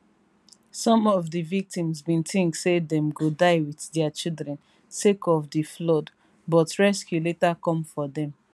some of di victims bin tink saydem go die wit dia children sake od di floodbut rescue later come for dem